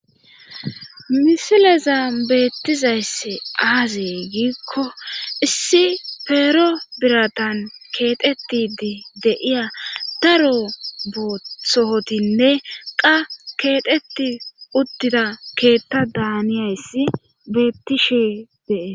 Misileza beettizayssi aazey giikko issi peero biratan keexetidi de'iya daro boothootinne qa keexeti udtida keetta daaniyayssi beettishe dee